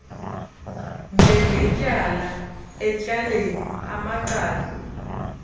njengetyala etyaleni amacala